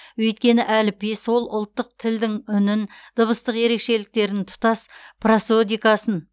өйткені әліпби сол ұлттық тілдің үнін дыбыстық ерекшеліктерін тұтас просодикасын